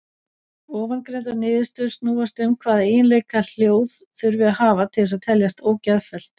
Ofangreindar niðurstöður snúast um hvaða eiginleika hljóð þurfi að hafa til þess að teljast ógeðfelld.